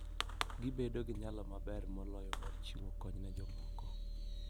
Gibedo gi nyalo maber moloyo mar chiwo kony ne jomoko.